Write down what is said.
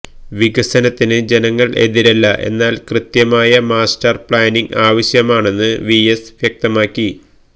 വികസനത്തിന് ജനങ്ങൾ എതിരല്ല എന്നാൽ കൃത്യമായ മാസ്റ്റർ പ്ലാനിങ് ആവശ്യമാണെന്ന് വിഎസ് വ്യക്തമാക്കി